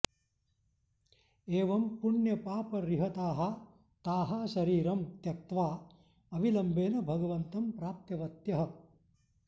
एवं पुण्यपापरिहताः ताः शरीरं त्यक्त्वा अविलम्बेन भगवन्तं प्राप्तवत्यः